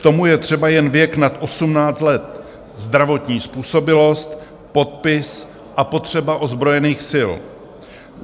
K tomu je třeba jen věk nad 18 let, zdravotní způsobilost, podpis a potřeba ozbrojených sil.